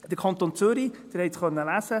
Sie konnten es in meiner Motion lesen: